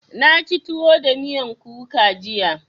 Na ci tuwo da miyan kuka jiya.